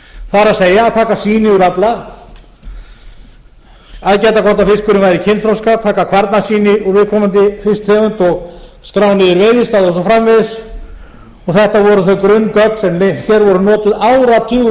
það er að taka sýni úr afla að gæta hvort fiskurinn væri kynþroska taka kvarnasýni úr viðkomandi fisktegund skrá niður veiðidaga og svo framvegis og þetta eru þau grunngögn sem hér voru notuð áratugum